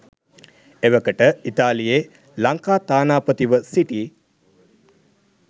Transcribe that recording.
එවකට ඉතාලියේ ලංකා තානාපතිව සිටි